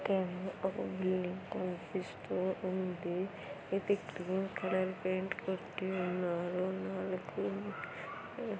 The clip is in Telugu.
ఒక బిల్డింగ్ కనిపిస్తూ ఉంది. ఇది గ్రీన్ కలర్ పెయింట్ కొట్టు ఉన్నారు. ఉన్నళ్ళకి ఉమ్--